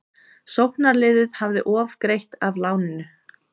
Sóknaraðili hefði ofgreitt af láninu